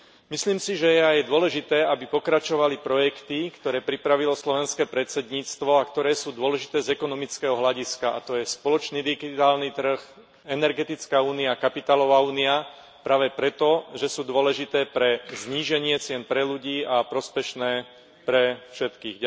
Myslím si, že je aj dôležité, aby pokračovali projekty, ktoré pripravilo slovenské predsedníctvo a ktoré sú dôležité z ekonomického hľadiska a to je spoločný digitálny trh, energetická únia, kapitálová únia, práve preto, že sú dôležité pre zníženie cien pre ľudí a prospešné pre všetkých.